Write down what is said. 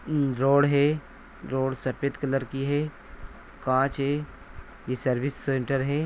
Road है road सफ़ेद colour की है कांच है यह सर्विस सेंटर है।